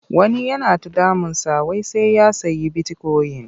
Wani yana ta damunsa wai sai ya sayi bitikoyin.